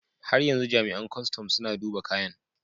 Har yanzu jami'an kustum suna duba kayan.